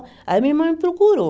Aí a minha irmã me procurou.